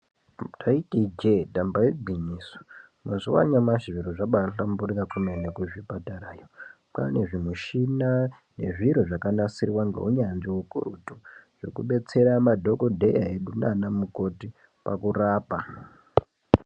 Ndaiti ijee e damba igwinyiso mazuva anawa zviro zvabahlamburuka kwemene kuzvipatarayo kwane zvimushina yezviro zvakanasirwa neunyanzvi ukurutu zvekudetsera madhokodheya edu nana mukoti pakurapa.